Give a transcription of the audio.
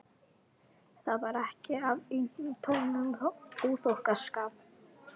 Það var ekki af eintómum óþokkaskap.